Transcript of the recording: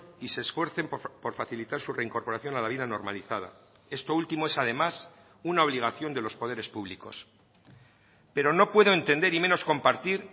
y se esfuercen por facilitar su reincorporación a la vida normalizada esto último es además una obligación de los poderes públicos pero no puedo entender y menos compartir